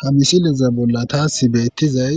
hamisileza bolla taassi beettizay